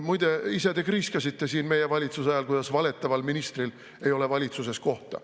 Muide, ise te kriiskasite siin meie valitsuse ajal, kuidas valetaval ministril ei ole valitsuses kohta.